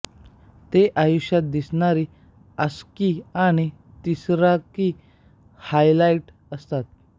ते आयुष्यात दिसणारी आसक्ती आणि तिरस्कार हायलाइट करतात